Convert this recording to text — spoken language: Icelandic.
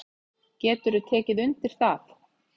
Geturðu tekið undir það?